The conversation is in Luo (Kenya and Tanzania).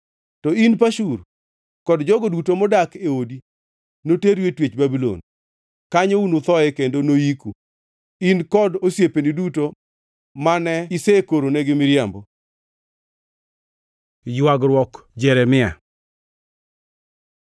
To in, Pashur, kod jogo duto modak e odi noteru e twech Babulon. Kanyo unuthoe kendo noyiku, in kod osiepeni duto mane isekoronegi miriambo.’ ” Ywagruok Jeremia